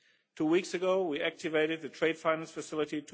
Two weeks ago we activated the Trade Fund Facility